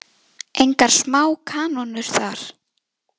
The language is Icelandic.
Engar smá kanónur þar!